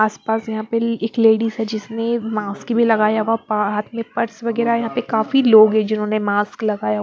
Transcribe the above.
आसपास यहां प एक लेडीज है जिसने मास्क भी लगाया हुआ हाथ में पर्स वगैरह यहाँ पे काफी लोग है जिन्होंने मास्क लगाया।